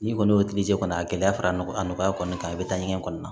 N'i kɔni y'o kɔnɔ a gɛlɛya fara n a nɔgɔya kɔni kan i bɛ taa ɲɛgɛn kɔnɔna na